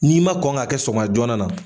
N'i ma kɔn k'a kɛ sɔgɔma joona na